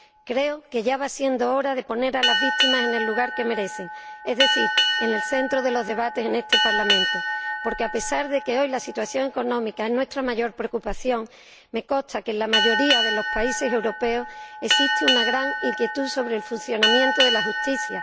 Creo que ya va siendo hora de poner a las víctimas en el lugar que merecen, es decir, en el centro de los debates en este Parlamento, porque, a pesar de que hoy la situación económica es nuestra mayor preocupación, me consta que en la mayoría de los países europeos existe una gran inquietud sobre el funcionamiento de la justicia.